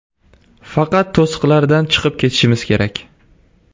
Faqat to‘siqlardan chiqib ketishimiz kerak.